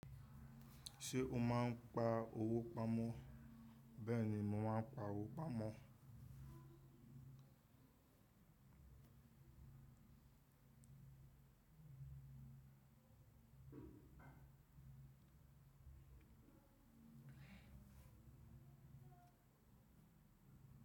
Ṣé o máa ń pa owó pamọ́? Bẹ́ẹ̀ ni, mo máa n pa owó pamọ́.